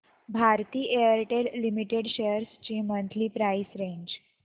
Bharti Airtel limited shares ची monthly price range